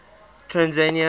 tanzania